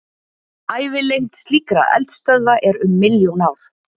Ævilengd slíkra eldstöðva er um milljón ár.